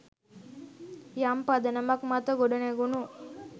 යම් පදනමක් මත ගොඩනැගුනු